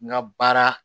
N ka baara